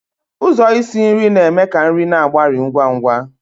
Ụzọ isi nri na-eme ka nri na-agbari ngwa ngwa.